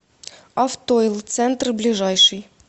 автойл центр ближайший